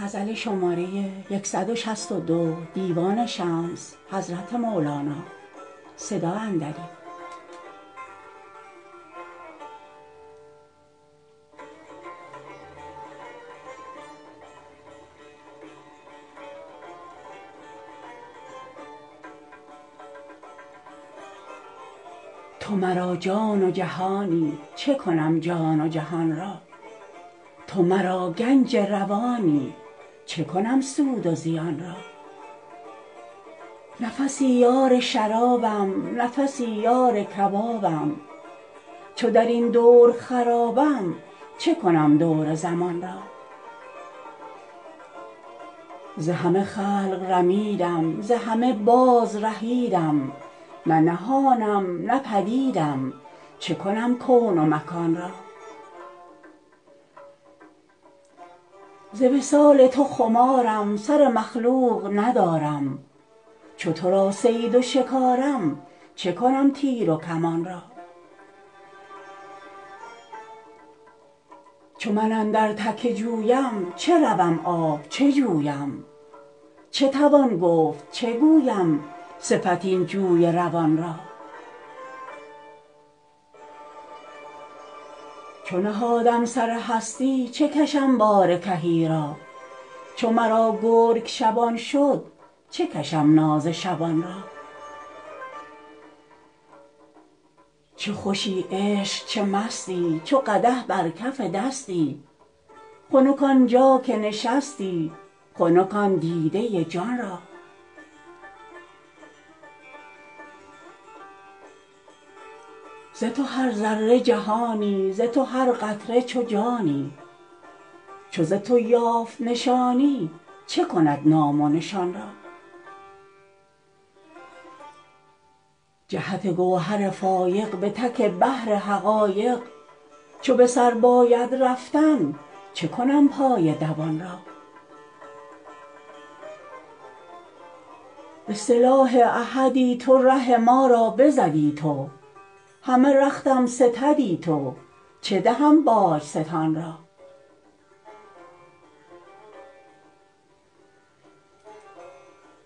تو مرا جان و جهانی چه کنم جان و جهان را تو مرا گنج روانی چه کنم سود و زیان را نفسی یار شرابم نفسی یار کبابم چو در این دور خرابم چه کنم دور زمان را ز همه خلق رمیدم ز همه بازرهیدم نه نهانم نه پدیدم چه کنم کون و مکان را ز وصال تو خمارم سر مخلوق ندارم چو تو را صید و شکارم چه کنم تیر و کمان را چو من اندر تک جویم چه روم آب چه جویم چه توان گفت چه گویم صفت این جوی روان را چو نهادم سر هستی چه کشم بار کهی را چو مرا گرگ شبان شد چه کشم ناز شبان را چه خوشی عشق چه مستی چو قدح بر کف دستی خنک آن جا که نشستی خنک آن دیده جان را ز تو هر ذره جهانی ز تو هر قطره چو جانی چو ز تو یافت نشانی چه کند نام و نشان را جهت گوهر فایق به تک بحر حقایق چو به سر باید رفتن چه کنم پای دوان را به سلاح احدی تو ره ما را بزدی تو همه رختم ستدی تو چه دهم باج ستان را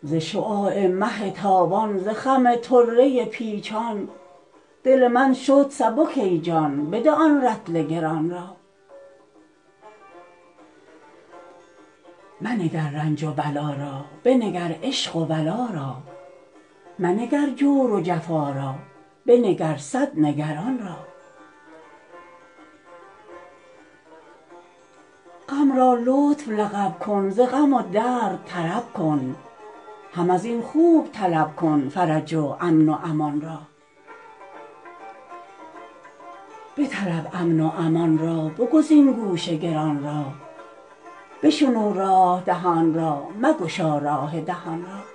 ز شعاع مه تابان ز خم طره پیچان دل من شد سبک ای جان بده آن رطل گران را منگر رنج و بلا را بنگر عشق و ولا را منگر جور و جفا را بنگر صد نگران را غم را لطف لقب کن ز غم و درد طرب کن هم از این خوب طلب کن فرج و امن و امان را بطلب امن و امان را بگزین گوش گران را بشنو راه دهان را مگشا راه دهان را